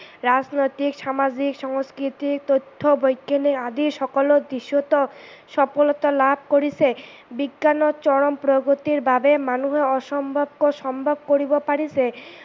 ৰাজনৈতিক, সামাজিক, সংস্কৃতিক, তথ্য বৈজ্ঞানিক আদি সকলো বিষয়েতে সফলতা লাভ কৰিছে ।বিজ্ঞানৰ চৰম প্ৰগতিৰ বাবে মানুহৰ অসম্ভৱকো সম্ভৱ কৰিব পাৰিছে।